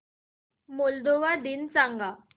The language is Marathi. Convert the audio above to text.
मोल्दोवा दिन सांगा